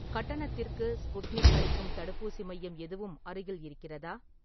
கட்டணத்திற்கு ஸ்புட்னிக் அளிக்கும் தடுப்பூசி மையம் எதுவும் அருகில் இருக்கிறதா?